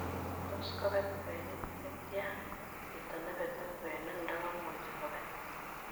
Tos kobet kwenik chetian chito nebete kwenik n'dogomuche kobet